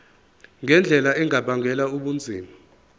ngendlela engabangela ubunzima